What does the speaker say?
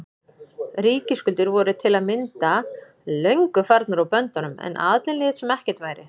Ríkisskuldir voru til að mynda löngu farnar úr böndunum en aðallinn lét sem ekkert væri.